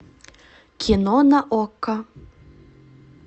кино на окко